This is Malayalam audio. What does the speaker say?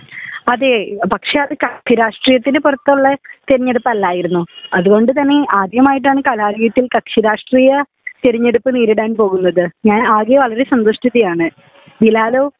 അതേ പക്ഷേ അത് കക്ഷി രാഷ്ട്രീയത്തിന് പുറത്തുള്ള തിരഞ്ഞെടുപ്പല്ലായിരുന്നു അത്കൊണ്ട് തന്നെ ആദ്യമായിട്ടാണ് കലാലയത്തിൽ കക്ഷി രാഷ്ട്രീയ തിരഞ്ഞെടുപ്പ് നേരിടാൻ പോകുന്നത് ഞാൻ ആകെ വളരെ സന്തുഷ്ടിതയാണ് . ബിലാലോ